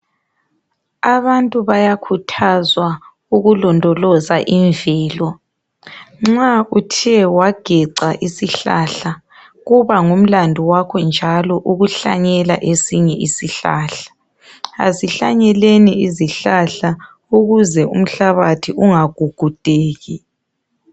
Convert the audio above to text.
Abantu bayakhuthazwa ukulondoloza imvelo, nxa uthe wageca isihlahla kuba ngumlandu wakho njalo ukuhlanyela esinye isihlahla. Asihlanyeleni izihlahla ukuze umhlabathi ungagugudeki.